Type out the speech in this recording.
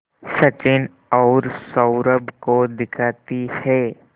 सचिन और सौरभ को दिखाती है